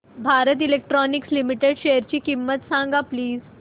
Bharat electronics limited शेअरची किंमत सांगा प्लीज